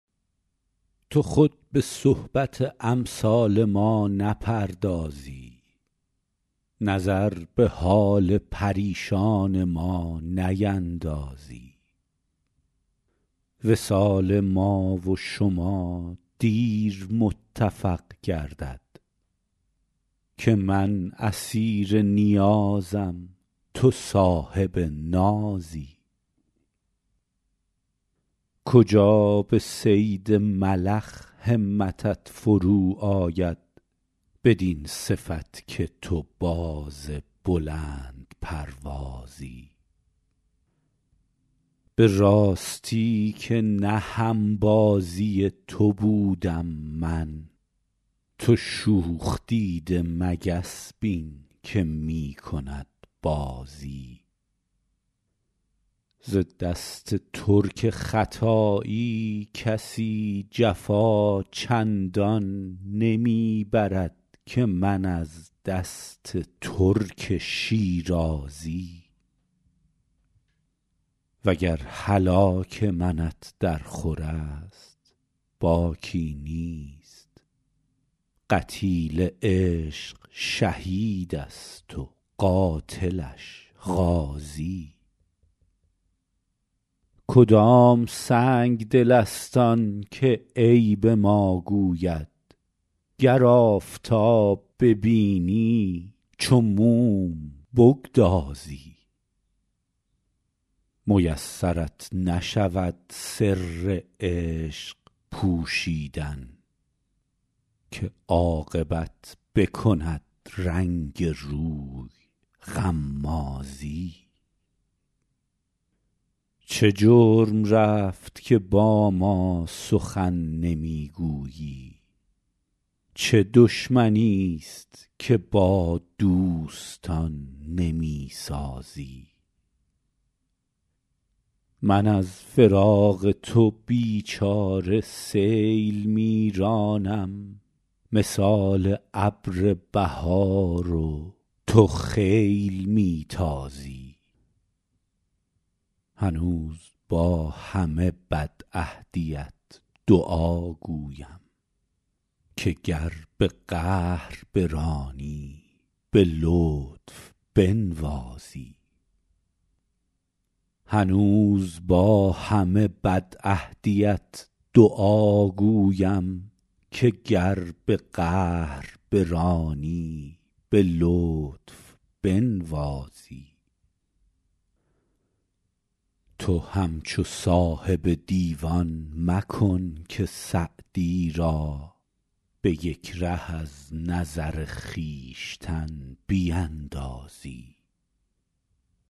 تو خود به صحبت امثال ما نپردازی نظر به حال پریشان ما نیندازی وصال ما و شما دیر متفق گردد که من اسیر نیازم تو صاحب نازی کجا به صید ملخ همتت فرو آید بدین صفت که تو باز بلندپروازی به راستی که نه هم بازی تو بودم من تو شوخ دیده مگس بین که می کند بازی ز دست ترک ختایی کسی جفا چندان نمی برد که من از دست ترک شیرازی و گر هلاک منت درخور است باکی نیست قتیل عشق شهید است و قاتلش غازی کدام سنگدل است آن که عیب ما گوید گر آفتاب ببینی چو موم بگدازی میسرت نشود سر عشق پوشیدن که عاقبت بکند رنگ روی غمازی چه جرم رفت که با ما سخن نمی گویی چه دشمنیست که با دوستان نمی سازی من از فراق تو بی چاره سیل می رانم مثال ابر بهار و تو خیل می تازی هنوز با همه بدعهدیت دعاگویم که گر به قهر برانی به لطف بنوازی تو همچو صاحب دیوان مکن که سعدی را به یک ره از نظر خویشتن بیندازی